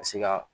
Ka se ka